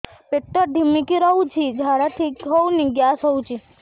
ପେଟ ଢିମିକି ରହୁଛି ଝାଡା ଠିକ୍ ହଉନି ଗ୍ୟାସ ହଉଚି